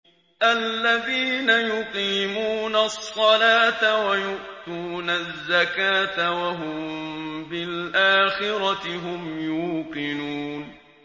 الَّذِينَ يُقِيمُونَ الصَّلَاةَ وَيُؤْتُونَ الزَّكَاةَ وَهُم بِالْآخِرَةِ هُمْ يُوقِنُونَ